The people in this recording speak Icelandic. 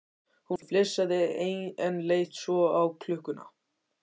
Hún flissaði, en leit svo á klukkuna.